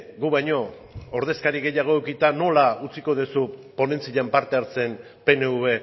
gu baino ordezkari gehiago edukita nola utziko duzu ponentzian parte hartzen pnv